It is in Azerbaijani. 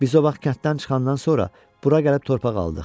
Biz o vaxt kənddən çıxandan sonra bura gəlib torpaq aldıq.